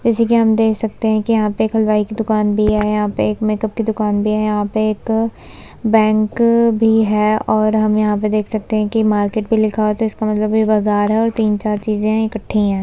जैसे कि हम देख सकते है कि यहां पे एक हलवाई की दुकान भी है। यहां पे एक मेकप की दुकान भी है। यहां पे एक बैंक भी है और हम यहां पे देख सकते है कि मार्केट भी लिखा हुआ है तो इसका मतलब कि ये एक बाजार है और तीन-चार चीज़े इकट्ठी हैं।